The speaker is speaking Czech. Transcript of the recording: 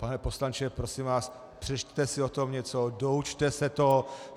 Pane poslanče, prosím vás, přečtěte si o tom něco, doučte se to.